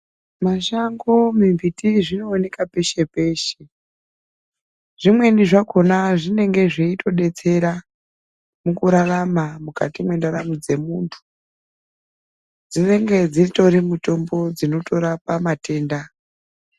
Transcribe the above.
Mashango, mimbiti zvinooneka peshe peshe zvimweni zvakona zvinenge zveitodetsera mukurarama mukati mwendaramo dzemuntu dzinenge dzitori mitombo dzinotorapa matenda .